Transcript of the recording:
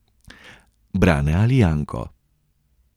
Brane ali Janko.